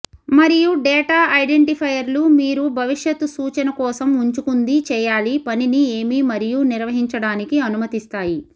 మరియు డేటా ఐడెంటిఫైయర్లు మీరు భవిష్యత్ సూచన కోసం ఉంచుకుంది చేయాలి పనిని ఏమి మరియు నిర్వచించడానికి అనుమతిస్తాయి